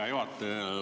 Hea juhataja!